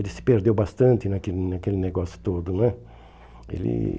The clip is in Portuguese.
Ele se perdeu bastante naquele naquele negócio todo né. Ele